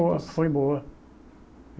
Boa, foi boa.